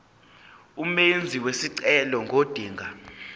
umenzi wesicelo ngodinga